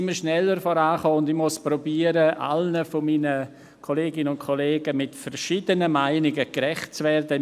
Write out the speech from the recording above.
Nun sind wir schneller vorangekommen, und ich muss versuchen, all meinen Kolleginnen und Kollegen mit unterschiedlichen Meinungen in meinem Votum gerecht zu werden.